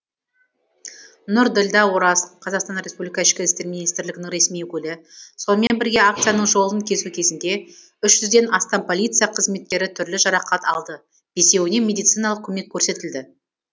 нұрділдә ораз қазақстан республика ішкі істер министрлігінің ресми өкілі сонымен бірге акцияның жолын кесу кезінде үш жүз ден астам полиция қызметкері түрлі жарақат алды бесеуіне медициналық көмек көрсетілді